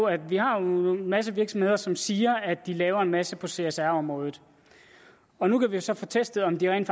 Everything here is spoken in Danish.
at vi har en masse virksomheder som siger at de laver en masse på csr området og nu kan vi så få testet om de rent